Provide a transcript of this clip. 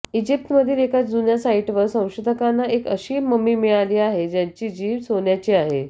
इजिप्तमधील एका जुन्या साइटवर संशोधकांना एक असी ममी मिळाली आहे ज्याची जीभ सोन्याची आहे